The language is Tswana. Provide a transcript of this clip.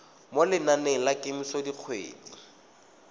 mo lenaneng la kemiso dikgwedi